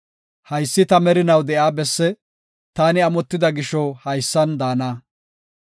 “Haysi ta merinaw de7iya besse; taani amotida gisho haysan daana.